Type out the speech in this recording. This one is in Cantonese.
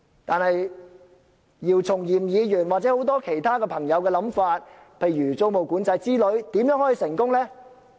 但是，姚松炎議員或很多其他朋友的構想，例如租務管制之類，如何能成功落實呢？